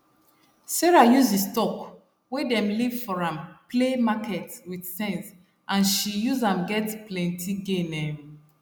sarah use d stock wey dem leave for am play market with sense and she use am get plenty gain um